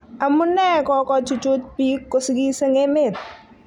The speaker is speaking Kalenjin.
Amu nee kokochuchuj bik kosigis eng emet?